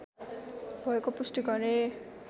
भएको पुष्टि गरे